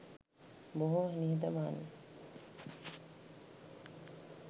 බොහෝ නිහතමානි